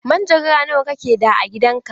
Manjagara nawa kake da a gidan ka?